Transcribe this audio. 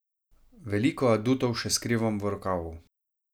Veliko adutov še skrivam v rokavu.